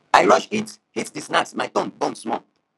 i rush eat eat the snack my tongue burn small